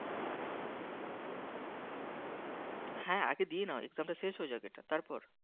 হ্যাঁ, আগে দিয়ে নাও Exam টা শেষ হয়ে যাক এটা তারপর